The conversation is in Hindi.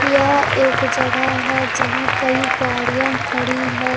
यह एक जगह हैं जहां कई गाड़ियां खड़ी हैं।